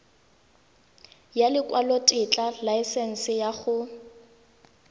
ya lekwalotetla laesense ya go